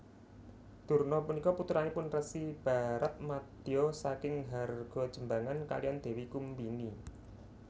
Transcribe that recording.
Durna punika putranipun Resi Baratmadya saking Hargajembangan kaliyan Dewi Kumbini